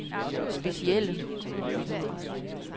specielle